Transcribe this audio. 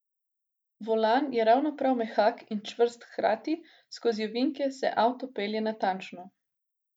Volan je ravno prav mehak in čvrst hkrati, skozi ovinke se avto pelje natančno.